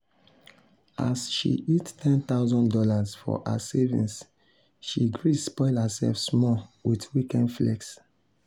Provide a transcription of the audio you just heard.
as she hit one thousand dollars0 for her savings she gree spoil herself small with weekend flex.